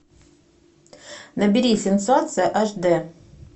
набери сенсация аш дэ